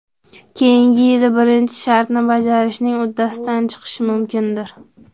Keyingi yili birinchi shartni bajarishning uddasidan chiqish mumkindir.